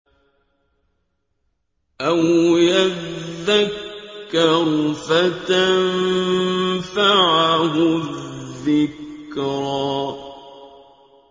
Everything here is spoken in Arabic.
أَوْ يَذَّكَّرُ فَتَنفَعَهُ الذِّكْرَىٰ